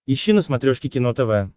ищи на смотрешке кино тв